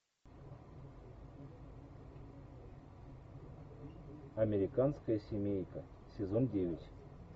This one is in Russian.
американская семейка сезон девять